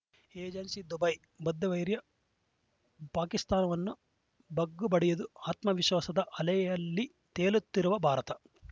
agency Dubai ಬದ್ಧವೈರಿ ಪಾಕಿಸ್ತಾನವನ್ನು ಬಗ್ಗುಬಡಿದು ಆತ್ಮವಿಶ್ವಾಸದ ಅಲೆಯಲ್ಲಿ ತೇಲುತ್ತಿರುವ ಭಾರತ